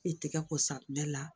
I tɛgɛ ko safunɛ bɛɛ la